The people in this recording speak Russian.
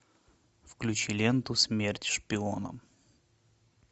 включи ленту смерть шпионам